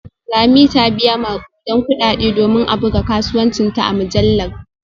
Lami ta biya makudan kudade domin a buga kasuwancinta a mujallar